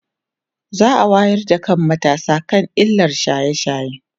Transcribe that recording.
za'a wayar da kan matasa akan illar shaye shaye